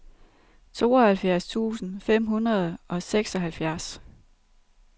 tooghalvfjerds tusind fem hundrede og seksoghalvfjerds